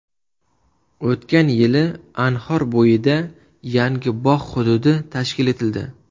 O‘tgan yili Anhor bo‘yida yangi bog‘ hududi tashkil etildi.